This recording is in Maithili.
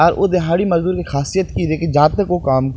आ उधारी मजदूर के खासियत की होय छै की जा तक ओ काम --